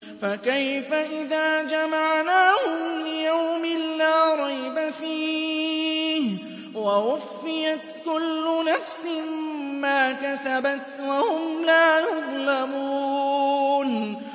فَكَيْفَ إِذَا جَمَعْنَاهُمْ لِيَوْمٍ لَّا رَيْبَ فِيهِ وَوُفِّيَتْ كُلُّ نَفْسٍ مَّا كَسَبَتْ وَهُمْ لَا يُظْلَمُونَ